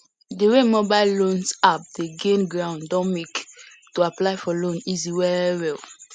di wey mobile loan apps dey gain ground don make to apply for loan easy well well